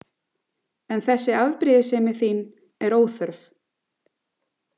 En þessi afbrýðissemi þín er óþörf.